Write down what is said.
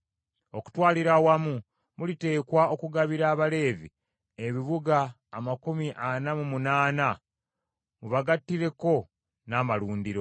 Okutwalira awamu muliteekwa okugabira Abaleevi ebibuga amakumi ana mu munaana, mubagattireko n’amalundiro.